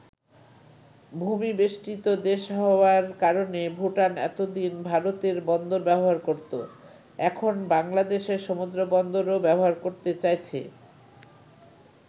ভূমি-বেষ্টিত দেশ হওয়ার কারণে ভুটান এতদিন ভারতের বন্দর ব্যবহার করতো এখন বাংলাদেশের সমুদ্রবন্দরও ব্যবহার করতে চাইছে।